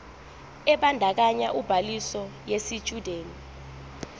ebandakanya ubhaliso yesitshudeni